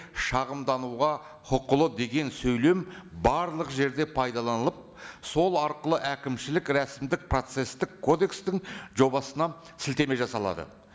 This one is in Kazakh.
шағымдануға құқылы деген сөйлем барлық жерде пайдаланылып сол арқылы әкімшілік рәсімдік процесстік кодекстің жобасына сілтеме жасалады